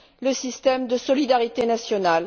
le système de solidarité national.